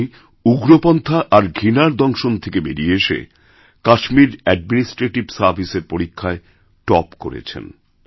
উনি উগ্রপন্থা আর ঘৃণার দংশন থেকে বেরিয়ে এসেকাশ্মীর অ্যাডমিনিস্ট্রেটিভ সার্ভিসের পরীক্ষায় টপ করেছেন